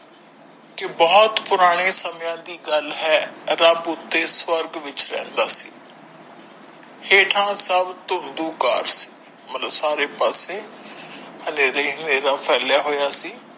ਕੀ ਬਹੁਤ ਪੁਰਾਣੇ ਸਮਿਆਂ ਦੀ ਗੱਲ ਹੈ ਰੱਬ ਉੱਤੇ ਸਵਰਗ ਵਿੱਚ ਰਹਿੰਦਾ ਸੀ ਹੇਠਾਂ ਸਬ ਘਟ ਹੈ ਮਤਲਬ ਸਾਰੇ ਪਾਸੇ ਹਨੇਰਾ ਹੀ ਹਨੇਰਾ ਫੈਲਿਆ ਹੋਇਆ ਸੀ।